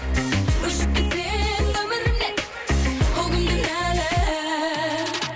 өшіп кетсең өмірімнен ол күн кінәлі